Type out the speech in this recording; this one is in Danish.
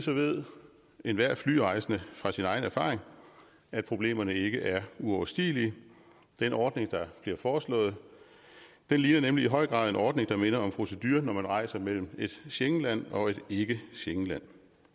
ved enhver flyrejsende fra sin egen erfaring at problemerne ikke er uoverstigelige den ordning der bliver foreslået ligner nemlig i høj grad en ordning der minder om proceduren når man rejser mellem et schengenland og et ikke schengenland